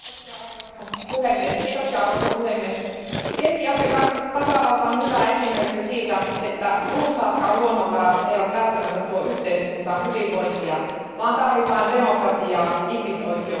Arvoisa puhemies, Keski Afrikan tasavalta on hyvä esimerkki siitä, että runsaatkaan luonnonvarat eivät välttämättä tuo yhteiskuntaan hyvinvointia, vaan tarvitaan demokratiaa, ihmisoikeuksia ja hyvää hallintoa.